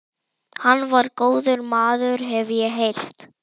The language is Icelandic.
Hann var góður maður, hef ég heyrt